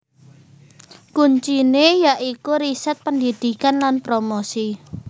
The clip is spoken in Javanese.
Kunciné ya iku riset pendidikan lan promosi